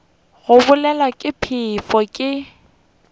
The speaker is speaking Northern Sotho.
go bolawa ke phefo ke